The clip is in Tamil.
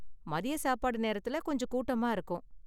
மதிய சாப்பாடு நேரத்துல கொஞ்சம் கூட்டமா இருக்கும்.